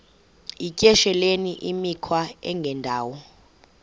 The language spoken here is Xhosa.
yityesheleni imikhwa engendawo